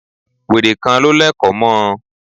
Wèrè kan ló lẹ̀kọ̀ mọ́ ọn.